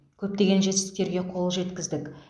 көптеген жетістіктерге қол жеткіздік